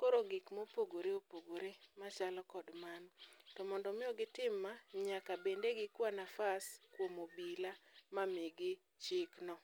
koro gik mopogore opogore machalo kod mano. To mondo miyo gitim ma, yaka bede gikwa nafas kuom obila ma migi chik no.